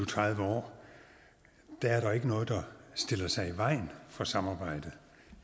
tredive år er der ikke noget der har stillet sig i vejen for samarbejde